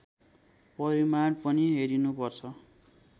परिमाण पनि हेरिनुपर्छ